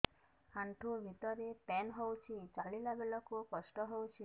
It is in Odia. ଆଣ୍ଠୁ ଭିତରେ ପେନ୍ ହଉଚି ଚାଲିଲା ବେଳକୁ କଷ୍ଟ ହଉଚି